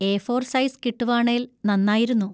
A four size കിട്ടുവാണേൽ നന്നായിരുന്നു.